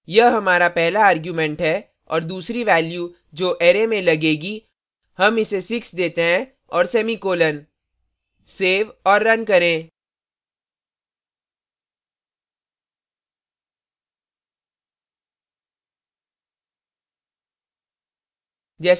यह हमारा पहला argument है और दूसरी value जो array में लगेगा हम इसे 6 देते हैं और semicolon सेव और रन करें